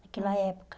Naquela época.